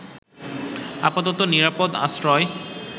আপাতত নিরাপদ আশ্রয়